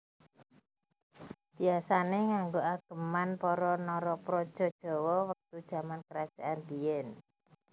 Biasane nganggo ageman para Narapraja Jawa wektu jaman kerajaan biyen